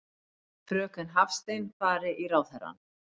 Fröken Hafstein fari í ráðherrann.